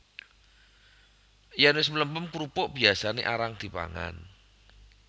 Yèn wis mlempem krupuk biyasané arang dipangan